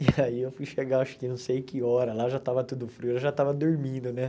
E aí eu fui chegar, acho que não sei que hora, lá já estava tudo frio, ela já estava dormindo, né?